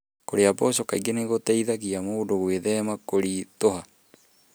Kũrĩa mboco kaingĩ nĩ gũteithagia mũndũ gwĩthema kũritũha.